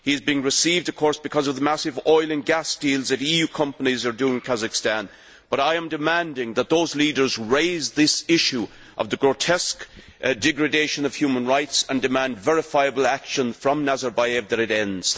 He is being received, of course, because of the massive oil and gas deals that EU companies are doing in Kazakhstan, but I am demanding that those leaders raise this issue of the grotesque degradation of human rights and demand verifiable action from Nazarbayev that it ends.